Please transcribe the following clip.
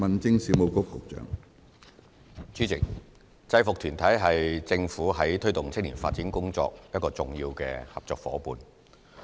主席，制服團體是政府在推動青年發展工作的一個重要合作夥夥伴。